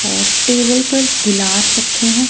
और टेबल पर गिलास रखे हैं।